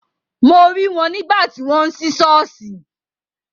Mo rí wọn nígbà tí wọ́n ń sí ṣọ́ọ̀ṣì.